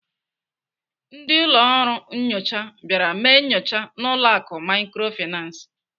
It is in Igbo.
Ndị ọrụ nnyocha bịara mee nyocha n'ụlọ akụ Microfinance.